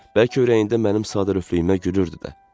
Bəlkə ürəyində mənim sadəlövflüyümə gülürdü də.